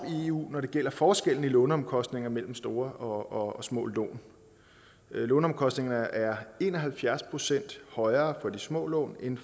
i eu når det gælder forskellen i låneomkostninger mellem store og små lån låneomkostningerne er en og halvfjerds procent højere for de små lån end